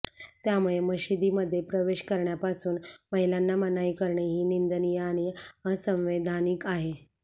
त्यामुळे मशिदीमध्ये प्रवेश करण्यापासून महिलांना मनाई करणे ही निंदनीय आणि असंवैधानिक आहे